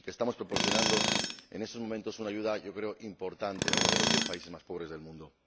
y que estamos proporcionando en estos momentos una ayuda yo creo importante a uno de los diez países más pobres del mundo.